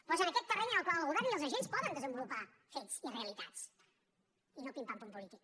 però és en aquest terreny en el qual el govern i els agents poden desenvolupar fets i realitats i no pim pam pum polític